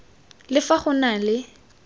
le fa go na le